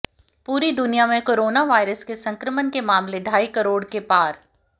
पूरी दुनिया में कोरोना वायरस संक्रमण के मामले ढाई करोड़ के पार